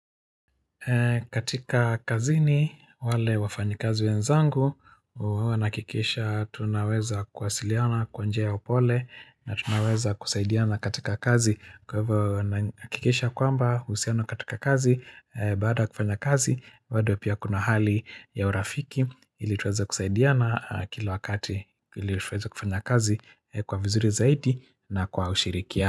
Katika kazini wale wafanyikazi wenzangu huwa na hakikisha tunaweza kuwasiliana kwa njia ya upole na tunaweza kusaidiana katika kazi kwa hivyo huwa na hakikisha kwamba uhusiano katika kazi baada kufanya kazi bado pia kuna hali ya urafiki ili tuweze kusaidiana kila wakati ili tuweze kufanya kazi kwa vizuri zaidi na kwa ushirikia.